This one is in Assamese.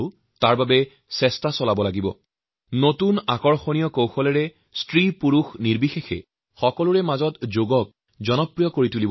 নতুন আৰু অভিনব ৰূপত শিশু যুৱক আৰু বয়স্ক লোকসকলৰ ভিতৰত পুৰুষ হওঁক বা মহিলাযোগক জনপ্ৰিয় কৰি তুলিব লাগিব